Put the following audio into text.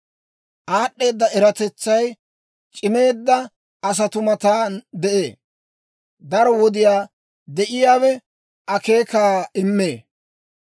«Aad'd'eeda eratetsay c'imeedda asatuu matan de'ee; daro wodiyaa de'iyaawe akeekaa immee.